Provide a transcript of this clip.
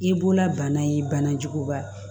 I bolola bana ye bana juguba